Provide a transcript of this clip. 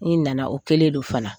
N'i nana o kelen don fana